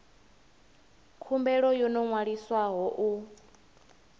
khumbelo yo no ṅwaliswaho u